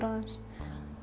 aðeins